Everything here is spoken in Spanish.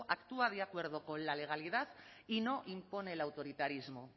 actúa de acuerdo con la legalidad y no impone el autoritarismo